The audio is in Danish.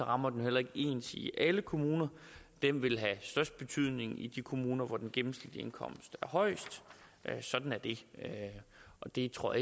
rammer heller ikke ens i alle kommuner den vil have størst betydning i de kommuner hvor den gennemsnitlige indkomst er højest sådan er det og det tror